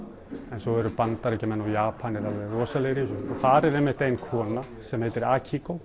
en svo eru Bandaríkjamenn og Japanir alveg rosalegir í þessu þar er einmitt ein kona sem heitir